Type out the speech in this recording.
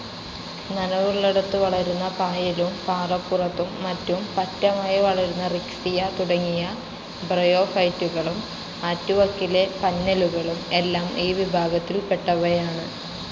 നനവുള്ളിടത്തു വളരുന്ന പായലും, പാറപ്പുറത്തും മറ്റും പറ്റമായി വളരുന്ന റിക്സിയ തുടങ്ങിയ ബ്രയോഫൈറ്റുകളും, ആറ്റുവക്കിലെ പന്നലുകളും എല്ലാം ഈ വിഭാഗത്തിൽപ്പെട്ടവയാണ്.